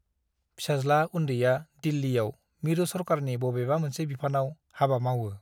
फिसाज्ला उन्दैया दिल्लीयाव मिरु सरकारनि बबेबा मोनसे बिफानाव हाबा मावओ ।